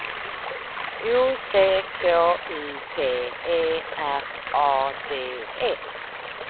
O C K U P E R A D E